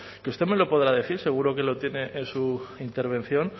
que usted me lo podrá decir seguro que lo tiene en su intervención